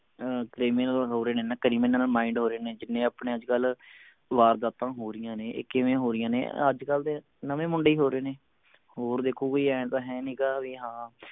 ਅਹ criminal ਹੋ ਰਹੇ ਨੇ ਨਾ criminal mind ਹੋ ਰਹੇ ਨੇ ਜਿੰਨੇ ਆਪਣੇ ਅੱਜਕਲ ਵਾਰਦਾਤਾਂ ਹੋ ਰਹੀਆਂ ਨੇ ਇਹ ਕਿਵੇਂ ਹੋ ਰਹੀਆਂ ਨੇ ਅੱਜਕਲ ਦੇ ਨਵੇਂ ਮੁੰਡੇ ਹੀ ਹੋ ਰਹੇ ਨੇ ਹੋਰ ਦੇਖੋ ਕੋਈ ਆਏਂ ਤਾਂ ਹੈ ਨਹੀਂ ਗਾ ਕਿ ਹਾਂ